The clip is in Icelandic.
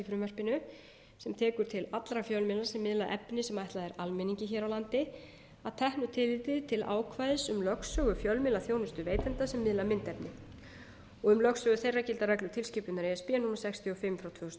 frumvarpinu sem tekur til allra fjölmiðla sem miðla efni sem ætlað er almenningi hér á landi að teknu tilliti til ákvæðis um lögsögu fjölmiðlaþjónustuveitenda sem miðla myndefni og um lögsögu þeirra gilda reglur tilskipunar e s b númer sextíu og fimm tvö þúsund og